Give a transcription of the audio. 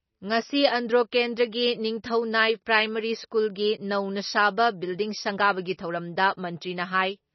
ꯉꯁꯤ ꯑꯟꯗ꯭ꯔꯣ ꯀꯦꯟꯗ꯭ꯔꯒꯤ ꯅꯤꯡꯊꯧꯅꯥꯏ ꯄ꯭ꯔꯥꯏꯃꯥꯔꯤ ꯁ꯭ꯀꯨꯜꯒꯤ ꯅꯧꯅ ꯁꯥꯕ ꯕꯤꯜꯗꯤꯡ ꯁꯪꯒꯥꯕꯒꯤ ꯊꯧꯔꯝꯗ ꯃꯟꯇ꯭ꯔꯤꯅ ꯍꯥꯏ